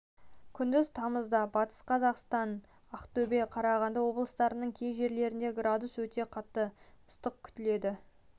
күндіз тамызда батыс қазақстан тамызда ақтөбе тамызда қарағанды облыстарының кей жерлерінде градус өте қатты ыстық күтіледі